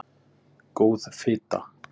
Góð fita